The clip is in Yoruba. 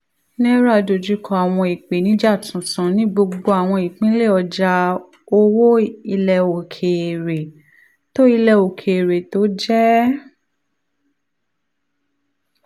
naira dojú kọ àwọn ìpèníjà tuntun ní gbogbo àwọn ìpínlẹ̀ ọjà owó ilẹ̀ òkèèrè tó ilẹ̀ òkèèrè tó jẹ́